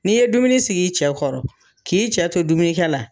N'i ye dumuni sigi i cɛ kɔrɔ k'i cɛ to dumuni kɛ la